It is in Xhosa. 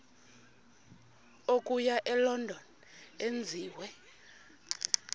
okuya elondon enziwe